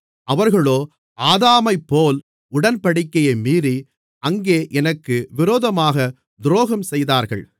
அவர்களோ ஆதாமைப்போல் உடன்படிக்கையை மீறி அங்கே எனக்கு விரோதமாகத் துரோகம் செய்தார்கள்